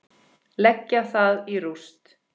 Leggja það í rúst!